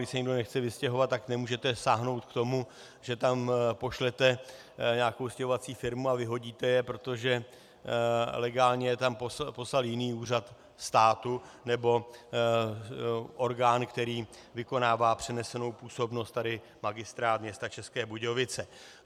Když se někdo nechce vystěhovat, tak nemůžete sáhnout k tomu, že tam pošlete nějakou stěhovací firmu a vyhodíte je, protože legálně je tam poslal jiný úřad státu nebo orgán, který vykonává přenesenou působnost, tady Magistrát města České Budějovice.